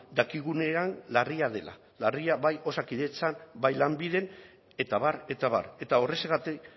dakigunean larria dela larria bai osakidetzan bai lanbiden eta abar eta abar eta horrexegatik